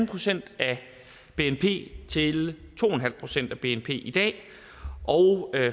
procent af bnp til to en halv procent af bnp i dag og